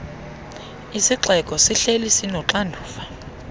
isixeko sihleli sinoxanduva